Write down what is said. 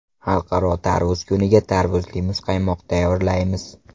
Xalqaro tarvuz kuniga tarvuzli muzqaymoq tayyorlaymiz.